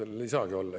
No seal ei saagi olla.